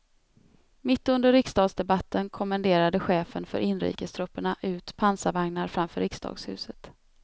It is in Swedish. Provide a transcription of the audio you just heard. Mitt under riksdagsdebatten kommenderade chefen för inrikestrupperna ut pansarvagnar framför riksdagshuset.